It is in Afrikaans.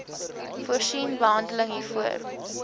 voorsien behandeling hiervoor